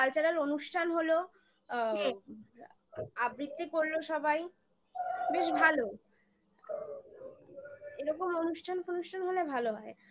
অনুষ্ঠান হলো আ হুম আবৃত্তি করলো সবাই বেশ ভালো এরকম অনুষ্ঠান ফানুষ্ঠান হলে ভালো হয়